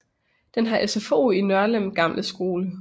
Den har SFO i Nørlem gamle skole